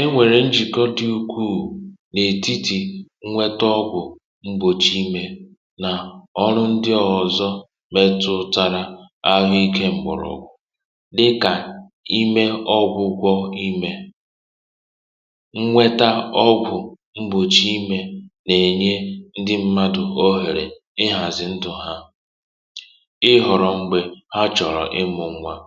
enwèrè njìkọ dị ukwuù n’ètitì inweta ọgwụ̀ m̀gbòchì imė nà ọrụ ndị ọ̀zọ metụ̇ụ̀tara ahụikė m̀bụrụ̀ ọgwụ̀ dịkà imė ọgwụ̀ kwọ̀ imè inweta ọgwụ̀ mgbòchi imė nà-ènye ndị mmadù ohere ịhàzị̀ ndụ̀ ha um ịhọ̀rọ̀ m̀gbè ha chọ̀rọ̀ ịmụ̇ nwȧ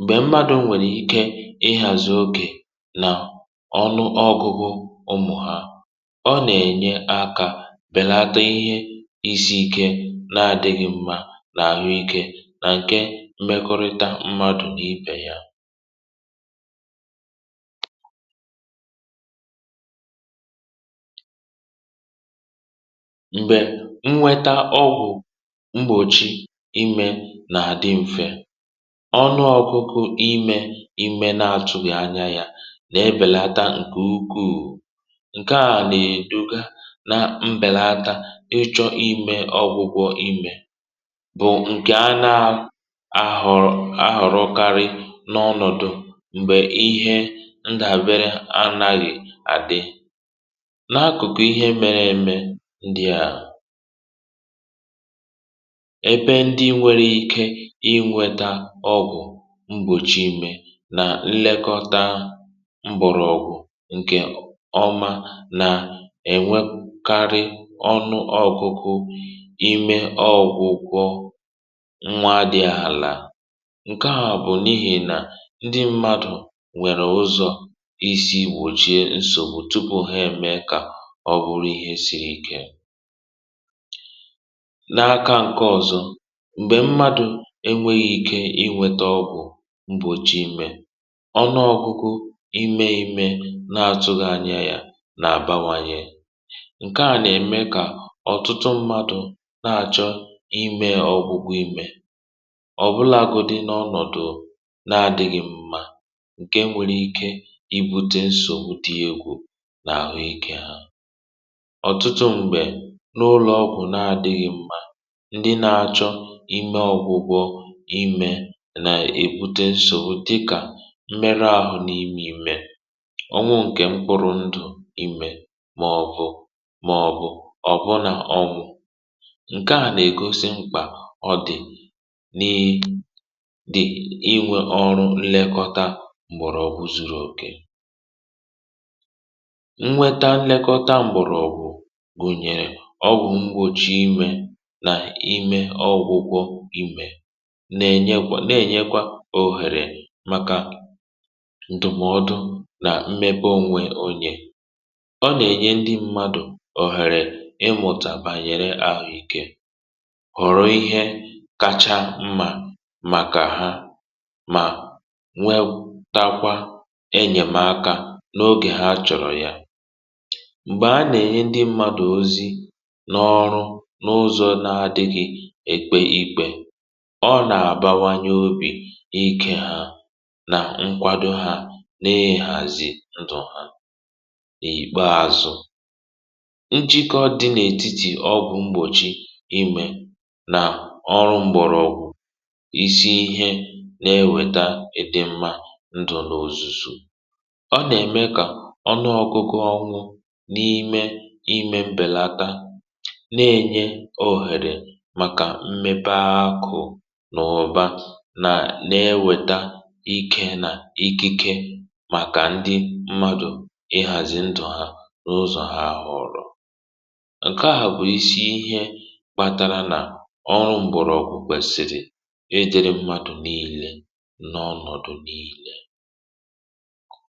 m̀gbè mmadụ̀ nwèrè ike ịhàzị okè nà ọnụ ọgụgụ ụmụ̀ ha ọ nà-ènye akȧ bèlata ihe izi̇ ike na-adịghị mmȧ n’àhụikė nà ǹkè mmekọrịta mmadụ̀ n’ipè ya ọnụ ọgụgụ imė ime na-atụghị anya ya na-ebèlata ǹkè ukwuù ǹke à nèè dụga na mbèlata ịchọ̇ imė ọgwụgwọ imė bụ̀ ǹkè a na-ahụ̀rụkarị n’ọnọ̀dụ̀ m̀gbè ihe ndàbere anàghị̇ àdì n’akụ̀kụ ihe mere eme ndị à mgbòchi imė nà nlekọta mbụ̀rụ̀ ọgwụ̀ ǹkè ọma nà-ènwekarị ọnụ ọ̇kụ̇kụ̇ imė ọ̇gwụ̇kwọ̇ nwa dị̇ àlà ǹke à bụ̀ n’ihì nà ndị mmadụ̀ nwèrè ụzọ̀ isi wochie nsògbu tupu ha eme kà ọ bụrụ ihe siri ike enweghị ike inwėtȧ ọgwụ̀ mgbòchi imė ọnụ ọgụgụ imė ime na-atụghị anya ya nà àbàwànyè ǹke à nà-ème kà ọ̀tụtụ mmadụ̇ na-àchọ imė ọ̀gwụgwụ imė ọ̀bụlagodi n’ọnọ̀dụ na-adịghị mma ǹke nwere ike ibute nsò mùtìegwu n’àhụ ikė ha ọ̀tụtụ m̀gbè n’ ụlọ̀ ọgwụ̀ na-adịghị mma nà èbute nsò dịkà mmerụ ahụ̇ n’ime imė ọnwụ ǹkè mkpụrụ ndụ̀ imè màọbụ̀ ọ̀bụ nà ọ bụ̀ ǹke à nà-ègosi mkpà ọ dị̀ n’i dị̀ inwė ọrụ nlekọta m̀gbèrọ̀ ọ̀gwụ̀ zuru òkè nnweta nlekọta m̀gbèrọ̀ ọ̀gwụ̀ gùnyèrè ọ wụ̀ ngwochi imė nà imė ọgwụgwọ na-ènyekwa òhèrè màkà ndùmọdụ nà mmepe onwe ònyè ọ nà-ènye ndị mmadụ̀ òhèrè ịmụ̀tà bànyere ahụ̀ ikė hụ̀rụ̀ ihe kacha mmà màkà ha um mà nwetakwa enyèmaka n’ogè ha chọ̀rọ̀ ya m̀gbè a nà-ènye ndị mmadụ̀ ozi na ọrụ n’ụzọ na-adịghị ekpe ikpė ọ nà-àbawanye obì n’ikė hȧ nà nkwado hȧ n’ihàzi ndụ̀ n’ikpà azụ̀ nchịkọ dị n’etiti ọgwụ̇ mgbòchi imè nà ọrụ mgbọ̀rọgwụ̀ isi ihe na-eweta ịdị̇ mmȧ ndụ̀ n’ozùzù ọ nà-ème kà ọnụ ọkụkụ ọnwụ̇ n’ime imė mbèlata na-ènye oghèrè màkà mmepe akụ̇ nà-ewèta ikė nà ikike màkà ndị mmadụ̀ ịhàzị ndụ̀ ha n’ụzọ̀ ha hà ọrụ̇ ǹke à bụ̀ isi ihe kpatara nà ọrụ m̀bọ̀rọ̀ ọkụ̇ kwèsìrì ejėrė mmadụ̀ n’ile n’ọnọ̀dụ̀ n’ile.